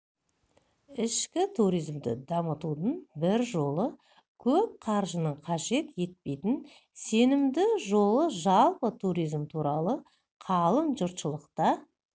ішкі туризмді дамытудың бір жолы көп қаржыны қажет етпейтін сенімді жолы жалпы туризм туралы қалың жұртшылықта